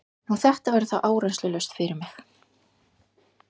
Nú, þetta verður þá áreynslulaust fyrir mig.